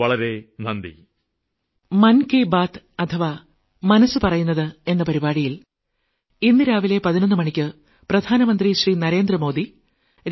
വളരെ വളരെ നന്ദി